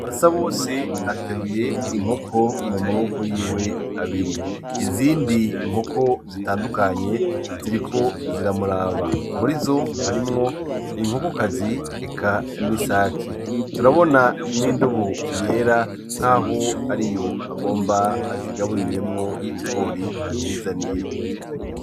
Basabose ateruye inkoko mumaboko yiwe abiri, izindi nkoko zitandukanye ziriko ziramuraba murizo harimwo inkoko kazi eka n'isaki, turabona n' indobo yera nkaho ariyo agomba azigaburiremwo ibigori azizaniye.